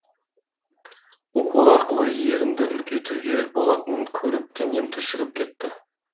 укол арқылы ерінді үлкейтуге болатынын көріп денем түршігіп кетті